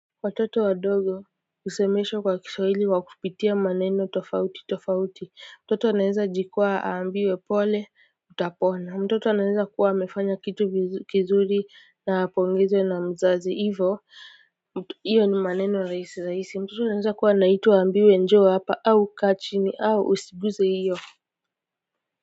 Watoto wadogo husemeshwa kwa kiswahili wakupitia maneno tofauti tofauti mtoto anaweza jikwaaa aambiwe pole utapona mtoto anaweza kuwa amefanya kitu kizuri na apongezwe na mzazi ivo iyo ni maneno rahisi rahisi mtoto anaweza kuwa anaitwa aambiwe njoo hapa au kaa chini au usiguze hiyo.